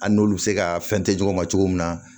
An n'olu bɛ se ka fɛn tɛ ɲɔgɔn ma cogo min na